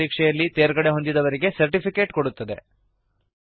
on line ಪರೀಕ್ಷೆಯಲ್ಲಿ ತೇರ್ಗಡೆಹೊಂದಿದವರಿಗೆ certificate ಕೊಡುತ್ತದೆ